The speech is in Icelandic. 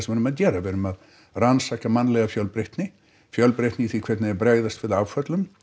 erum að gera við erum að rannsaka mannlega fjölbreytni fjölbreytni í því hvernig þeir bregðast við áföllum